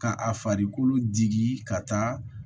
Ka a farikolo digi ka taa